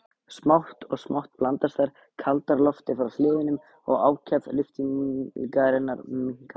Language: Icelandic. Smátt og smátt blandast þær kaldara lofti frá hliðunum og ákefð lyftingarinnar minnkar.